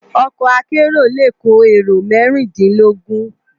Òkò àkèéró lé kó éró mèrindinlógùn